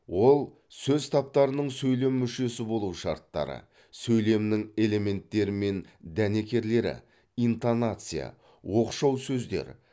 ол сөз таптарының сөйлем мүшесі болу шарттары сөйлемнің элементтері мен дәнекерлері интонация оқшау сөздер